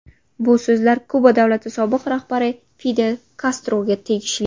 Bu so‘zlar Kuba davlati sobiq rahbari Fidel Kastroga tegishli.